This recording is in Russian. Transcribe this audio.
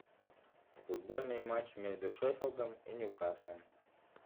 футбольный матч между шеффилдом и ньюкаслом